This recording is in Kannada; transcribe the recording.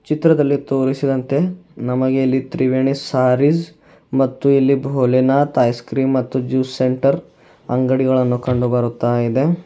ಚಿತ್ರದಲ್ಲಿ ತೋರಿಸಿದಂತೆ ನಮಗೆ ಇಲ್ಲಿ ತ್ರಿವೇಣಿ ಸ್ಯಾರೀಸ್ ಮತ್ತು ಇಲ್ಲಿ ಭೋಲೆನಾಥ್ ಐಸ್ ಕ್ರೀಮ್ ಮತ್ತು ಜ್ಯೂಸ್ ಸೆಂಟರ್ ಅಂಗಡಿಗಳನ್ನು ಕಂಡು ಬರುತ್ತಾ ಇದೆ.